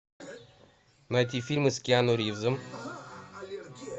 найти фильмы с киану ривзом